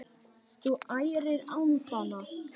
Þú ærir andana!